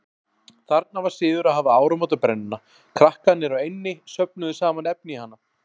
Þarna var siður að hafa áramótabrennuna, krakkarnir á eynni söfnuðu saman efni í hana.